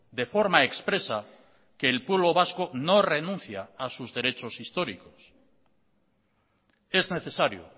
de forma expresa que el pueblo vasco no renuncia a sus derechos históricos es necesario